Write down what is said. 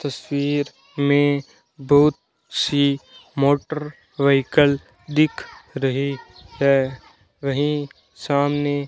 तस्वीर में बहुत सी मोटर व्हीकल दिख रहे हैं वही सामने --